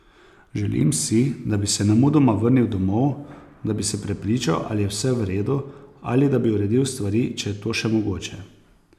Želim si, da bi se nemudoma vrnil domov, da bi se prepričal, ali je vse v redu, ali da bi uredil stvari, če je to še mogoče.